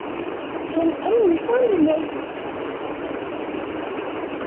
Hinn eini sanni!